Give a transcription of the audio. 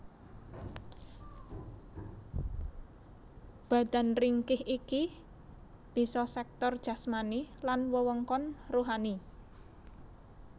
Badan ringkih iki bisa sektor jasmani lan wewengkon ruhani